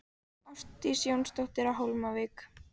Ásdís Jónsdóttir á Hólmavík